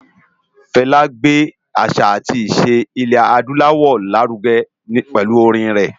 Fela gbé àṣá átì iṣé Ilè-ádùláwò lárùgè pèlú órin rè